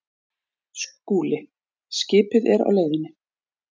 SKÚLI: Skipið er á leiðinni.